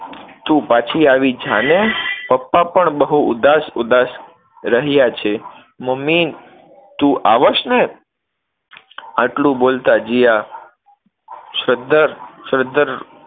તું પછી આવી જાને, પપ્પા પણ બહુ ઉદાસ-ઉદાસ રહ્યા છે, મમ્મી તું આવછ ને? આટલું બોલતા જીયા સદ્ધર સદ્ધર